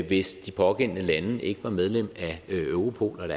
hvis de pågældende lande ikke var medlem af europol